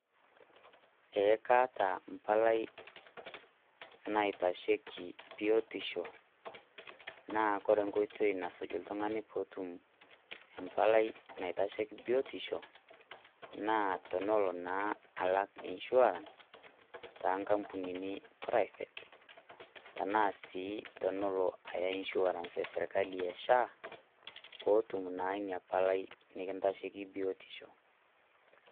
Ee kaata empalai naitasheiki biotisho naa kore enkoitoi nasuj oltung'ani pee etum mbalai naitesheiki biotisho naa tenelo naa alak insurance too ngambunini private arashu enelo naa Aya too nkopisini esirkali eSHA peetum naa Ina palai neikintasheiki biotisho.